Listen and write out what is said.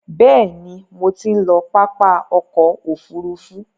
Bẹ̀ẹ̀ni, mo ti ń lọ pápá ọkò òfurufú.